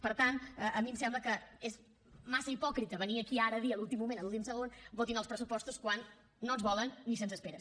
per tant a mi em sembla que és massa hipòcrita venir aquí ara a dir a l’últim moment a l’últim segon votin els pressupostos quan no ens volen ni se’ns espera